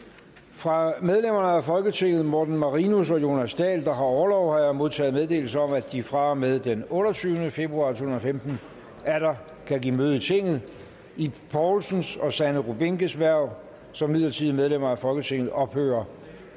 fra medlemmer af folketinget morten marinus og jonas dahl der har orlov har jeg modtaget meddelelse om at de fra og med den otteogtyvende februar to tusind og femten atter kan give møde i tinget ib poulsens og sanne rubinkes hverv som midlertidige medlemmer af folketinget ophører